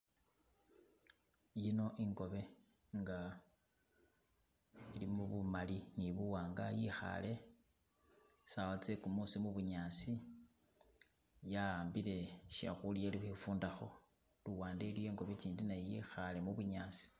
Yino inkobe inga ilimo bumali ni buwanga yikhale sawa tsegumusi mubunyasi yahambile shekhulya ili khwifundakho luwande naye iliyo inkobe gindi naye yikhale mubunyasi.